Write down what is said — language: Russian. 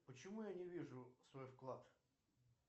почему я не вижу свой вклад